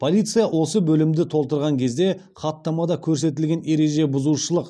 полиция осы бөлімді толтырған кезде хаттамада көрсетілген ереже бұзушылық